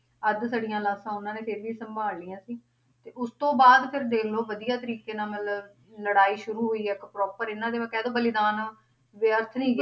ਅੱਧ ਸੜੀਆਂ ਲਾਸ਼ਾਂ ਉਹਨਾਂ ਨੇ ਫੇਰ ਵੀ ਸੰਭਾਲ ਲਈਆਂ ਸੀ ਤੇ ਉਸ ਤੋਂ ਬਾਅਦ ਫਿਰ ਦੇਖ ਲਓ ਵਧੀਆ ਤਰੀਕੇ ਨਾਲ ਮਤਲਬ ਲੜਾਈ ਸ਼ੁਰੂ ਹੋਈ ਇੱਕ proper ਇਹਨਾਂ ਦੇ ਕਹਿ ਦਓ ਬਲੀਦਾਨ ਵਿਅਰਥ ਨੀ